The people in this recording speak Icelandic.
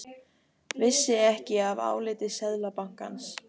Vissi ekki af áliti Seðlabankans